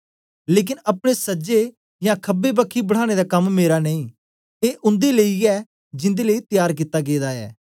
लेकन अपने सजे यां खबे बखी बठाने दा कम मेरा नेई ऐ उन्दे लेई ऐ जिन्दे लेई त्यार कित्ता गेदा ऐ